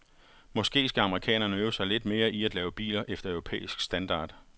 Måske skal amerikanerne øve sig lidt mere i at lave biler efter europæisk standard.